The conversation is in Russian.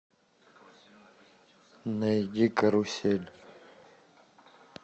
найди карусель